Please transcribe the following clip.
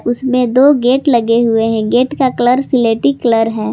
उसमें दो गेट लगे हुए हैं गेट का कलर स्लेटी कलर है।